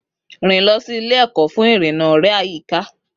Rìn lọ sí ilé-ẹ̀kọ́ fún ìrìnnà ọ̀rẹ́ àyíká.